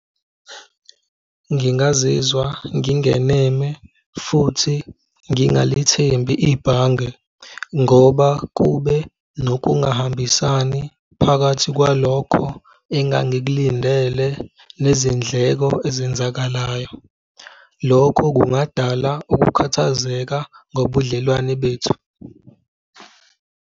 Ngingazizwa ngingeneme futhi ngingalithembi ibhange ngoba kube nokungahambisani phakathi kwalokho engingakulindele nezindleko ezenzakalayo. Lokho kungadala ukukhathazeka ngobudlelwane bethu.